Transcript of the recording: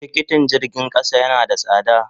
Tikiti jirgin kasa yana da sada.